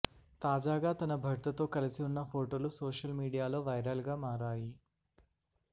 తాజగా తన భర్తతో కలసి ఉన్న ఫోటోలు సోషల్ మీడియాలో వైరల్ గా మారాయి